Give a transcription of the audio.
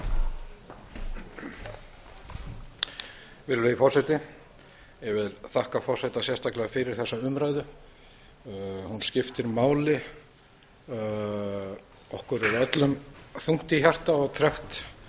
virðulegi forseti ég vil þakka forseta sérstaklega fyrir þessa umræðu hún skiptir máli okkur er öllum þungt í hjarta og tregt